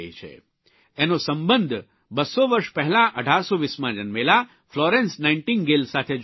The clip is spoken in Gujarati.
એનો સંબંધ ૨૦૦ વર્ષ પહેલાં ૧૮૨૦માં જન્મેલા ફ્લોરેન્સ નાઇટીંગલ સાથે જોડાયેલો છે